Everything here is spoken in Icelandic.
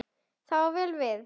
Það á vel við.